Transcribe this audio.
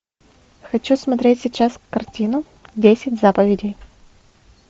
хочу смотреть сейчас картину десять заповедей